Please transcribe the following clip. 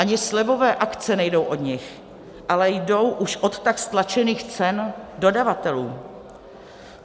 Ani slevové akce nejdou od nich, ale jdou už od tak stlačených cen dodavatelů.